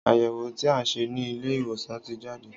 Àyẹwò tí a ṣe ni Ilé ìwòsàn ti jade